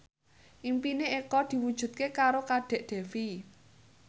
impine Eko diwujudke karo Kadek Devi